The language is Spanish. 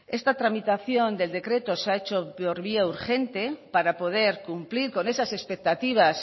esta tramitación del decreto se ha hecho por vía urgente para poder cumplir con esas expectativas